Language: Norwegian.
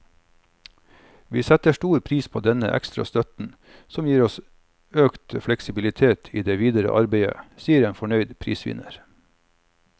Vi setter stor pris på denne ekstra støtten, som gir oss økt fleksibilitet i det videre arbeidet, sier en fornøyd prisvinner.